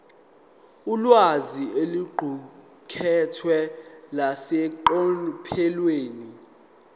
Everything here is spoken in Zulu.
ulwazi oluqukethwe luseqophelweni